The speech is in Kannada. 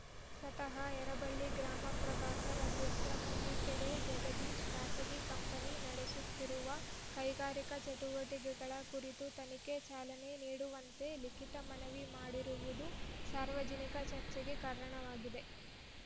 ಸ್ವತಹ ಯರಬಳ್ಳಿ ಗ್ರಾಮ ಪ್ರಭಾರ ಅಧ್ಯಕ್ಷ ಕಂದೀಕೆರೆ ಜಗದೀಶ್‌ ಖಾಸಗಿ ಕಂಪನಿ ನಡೆಸುತ್ತಿರುವ ಕೈಗಾರಿಕಾ ಚಟುವಟಿಕೆಗಳ ಕುರಿತು ತನಿಖೆಗೆ ಚಾಲನೆ ನೀಡುವಂತೆ ಲಿಖಿತ ಮನವಿ ಮಾಡಿರುವುದು ಸಾರ್ವಜನಿಕ ಚರ್ಚೆಗೆ ಕಾರಣವಾಗಿದೆ